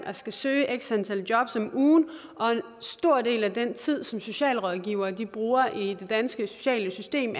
og skal søge x antal jobs om ugen og en stor del af den tid som socialrådgivere bruger i dag i det danske sociale system